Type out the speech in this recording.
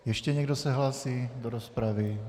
Ještě někdo se hlásí do rozpravy?